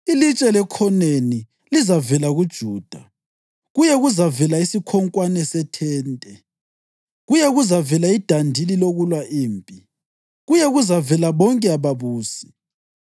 Ilitshe lekhoneni lizavela kuJuda, kuye kuzavela isikhonkwane sethente, kuye kuzavela idandili lokulwa impi, kuye kuzavela bonke ababusi.